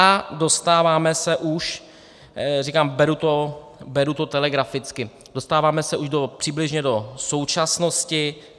A dostáváme se už, říkám, beru to telegraficky, dostáváme se už přibližně do současnosti.